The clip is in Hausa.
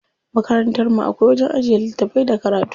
Makarantar mu akwai wajen ajiye littafai da karatu.